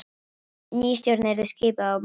Ný stjórn yrði skipuð á morgun